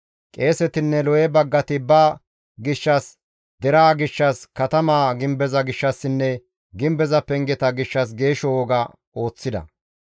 Qeesetinne Lewe baggati ba gishshas, deraa gishshas, katama gimbeza gishshassinne gimbeza pengeta gishshas geeshsho woga ooththida.